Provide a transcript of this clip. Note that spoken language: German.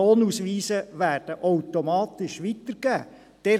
Die Lohnausweise werden automatisch weitergegeben.